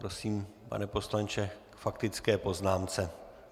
Prosím, pane poslanče, k faktické poznámce.